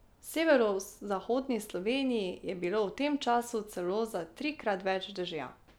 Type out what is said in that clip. V severozahodni Sloveniji je bilo v tem času celo za trikrat več dežja.